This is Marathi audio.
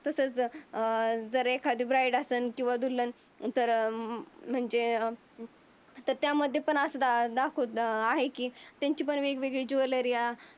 अं तर एखादी ब्राईट असंन दुल्हन तर म्हणजे त्यामध्ये पण असं दा दा दाखवत आहे. की त्यांची पण वेगवेगळी ज्वेलरी आहे.